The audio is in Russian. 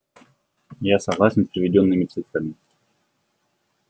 я согласен с приведёнными цифрами